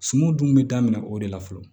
Suman dun bɛ daminɛ o de la fɔlɔ